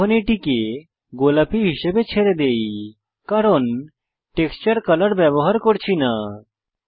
এখন এটিকে গোলাপী হিসাবে ছেড়ে দেই কারণ টেক্সচার কলর ব্যবহার করছি না